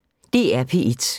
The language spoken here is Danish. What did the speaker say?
DR P1